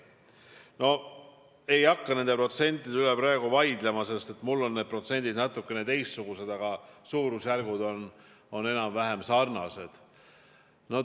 Ma ei hakka nende protsentide üle praegu vaidlema, minul on natukene teistsugused protsendid, aga suurusjärgud on sarnased.